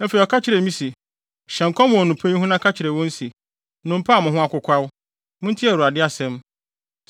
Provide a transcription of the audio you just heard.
Afei ɔka kyerɛɛ me se, “Hyɛ nkɔm wɔ nnompe yi ho na ka kyerɛ wɔn se, ‘Nnompe a mo ho akokwaw, muntie Awurade asɛm!